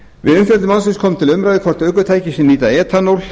við umfjöllun málsins kom til umræðu hvort ökutæki sem nýta etanól